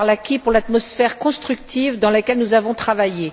Arlacchi pour l'atmosphère constructive dans laquelle nous avons travaillé.